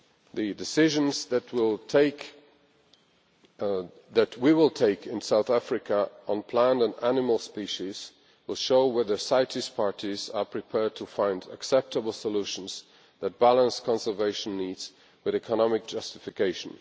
The decisions that we will take in South Africa on plant and animal species will show whether CITES parties are prepared to find acceptable solutions that balance conservation needs with economic justification.